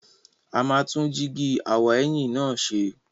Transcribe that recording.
A máa tún jíígi aw'ẹ̀yìn náà ṣe.